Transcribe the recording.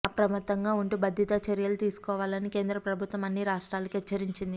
అప్రమత్తంగా ఉంటూ భద్రతా చర్యలు తీసుకోవాలని కేంద్ర ప్రభుత్వం అన్ని రాష్ట్రాలకూ హెచ్చరించింది